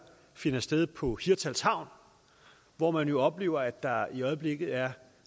finder sted på hirtshals havn hvor man jo oplever at der i øjeblikket er